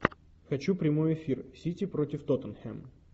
хочу прямой эфир сити против тоттенхэм